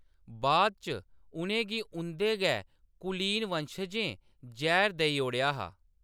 बाद इच उʼनें गी उंʼदे गै कुलीन वंशजें जैह्‌र देई ओड़ेआ हा।